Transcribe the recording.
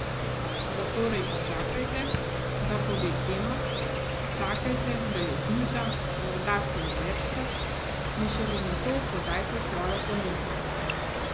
Zatorej počakajte, da pove ceno, čakajte, da jo zniža, morda celo večkrat, in šele nato podajte svojo ponudbo.